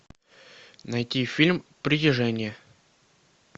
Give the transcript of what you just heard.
найти фильм притяжение